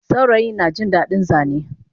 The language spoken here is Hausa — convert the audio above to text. Saurayin najin dadin Zane